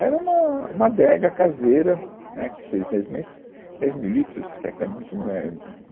Era uma, uma adega caseira, né, que fez, dez, mas, dez mil litros pensa é muito, não é